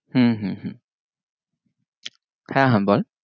হম হম হম হ্যাঁ হ্যাঁ বল